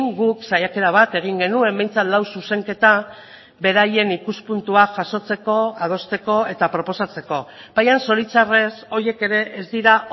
guk saiakera bat egin genuen behintzat lau zuzenketa beraien ikuspuntua jasotzeko adosteko eta proposatzeko baina zoritxarrez horiek ere ez dira